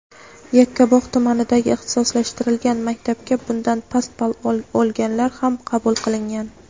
Yakkabog‘ tumanidagi ixtisoslashtirilgan maktabga bundan past ball o‘lganlar ham qabul qilingan.